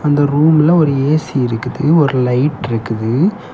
இந்த ரூம்ல ஒரு ஏ_சி இருக்குது ஒரு லைட்ருக்குது .